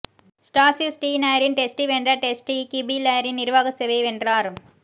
ஸ்டாசி ஸ்டீனரின் டெஸ்டி வென்ற டெஸ்டி கீபிளரின் நிர்வாக சேவையை வென்றார்